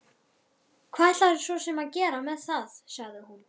Hvað ætlarðu svo sem að gera með það, sagði hún.